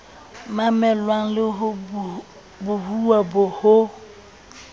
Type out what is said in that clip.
mamelwang le ho bohuwa hong